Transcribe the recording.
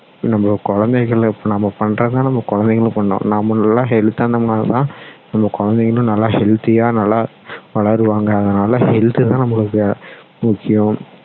நம்ம குழந்தைங்களை நம்ம பண்றது தான் நம்ம குழந்தைங்களும் பண்ணும் நாம நல்ல health தா இருந்டதோம்னா தான் நம்ம குழந்தைங்களும் நல்ல healthy யா நல்லா வளருவாங்க அதனால health தான் நம்மளுக்கு முக்கியம்